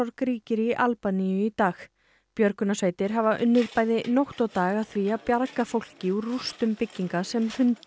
ríkir í Albaníu í dag björgunarsveitir hafa unnið bæði nótt og dag að því að bjarga fólki úr rústum bygginga sem hrundu í